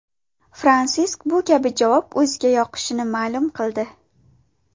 Fransisk bu kabi javob o‘ziga yoqishini ma’lum qildi.